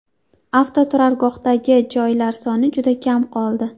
Avtoturargohdagi joylar soni juda kam qoldi.